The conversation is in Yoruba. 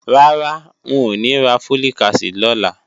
Rárá, ń ò ní ra Folic acid lọ́la